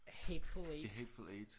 Hateful Eight